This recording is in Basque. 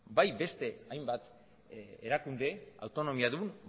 bai beste hainbat erakunde autonomiadun